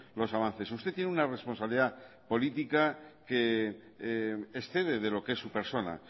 los avances usted tiene una responsabilidad política que excede de lo que es su persona